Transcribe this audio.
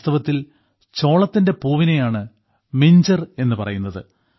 വാസ്തവത്തിൽ ചോളത്തിന്റെ പൂവിനെയാണ് മിഞ്ചർ എന്നുപറയുന്നത്